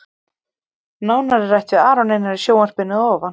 Nánar er rætt við Aron Einar í sjónvarpinu að ofan.